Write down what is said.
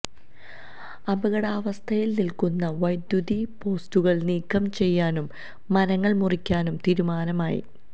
അപകടാവസ്ഥയില് നില്ക്കുന്ന വൈദ്യുതിപോസ്റ്റുകള് നീക്കം ചെയ്യാനും മരങ്ങള് മുറിക്കാനും തീരുമാനമായി